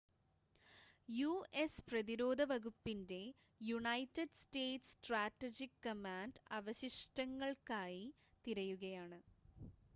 US പ്രതിരോധ വകുപ്പിൻ്റെ United States Strategic Command അവശിഷ്‌ടങ്ങൾക്കായി തിരയുകയാണ്